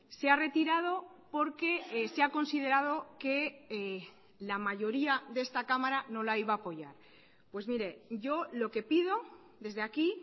se ha retirado porque se ha considerado que la mayoría de esta cámara no la iba a apoyar pues mire yo lo que pido desde aquí